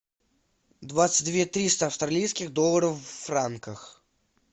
двадцать две триста австралийских долларов в франках